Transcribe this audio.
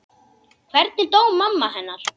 Hvernig dó mamma hennar?